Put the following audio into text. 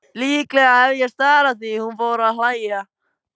Líklega hef ég starað því hún fór að hlæja.